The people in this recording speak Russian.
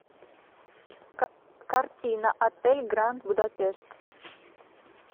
картина отель гранд будапешт